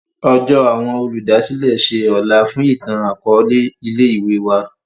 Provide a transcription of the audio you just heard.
Ọjọ awọn Olùdásílẹ̀ ṣe ọlá fún itan-akọọlẹ ilé-ìwé wà.